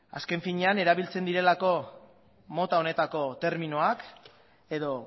azken finean erabiltzen direlako mota honetako terminoak edo